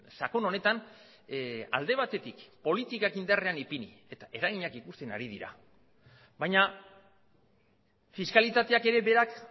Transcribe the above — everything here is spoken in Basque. sakon honetan alde batetik politikak indarrean ipini eta eraginak ikusten ari dira baina fiskalitateak ere berak